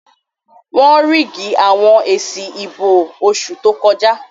Wọ́n ríìgì àwọn èsì ìbò oṣù tó kọjá